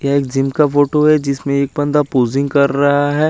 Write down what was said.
ये जिम का फोटो है जिसमे एक पन्दा पोसिंग कर रा है।